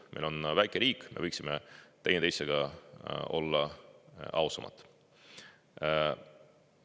Meil on väike riik, me võiksime teineteisega ausamad olla.